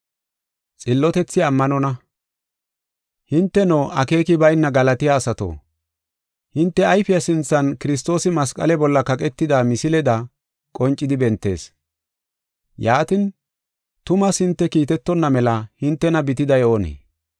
Hinteno, akeeki bayna Galatiya asato, hinte ayfiya sinthan Kiristoosi masqale bolla kaqetida misileda qoncidi bentees. Yaatin, tumaas hinte kiitetonna mela hintena bitiday oonee?